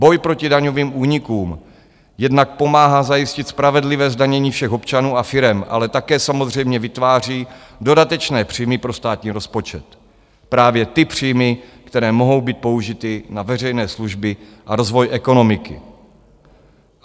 Boj proti daňovým únikům jednak pomáhá zajistit spravedlivé zdanění všech občanů a firem, ale také samozřejmě vytváří dodatečné příjmy pro státní rozpočet, právě ty příjmy, které mohou být použity na veřejné služby a rozvoj ekonomiky.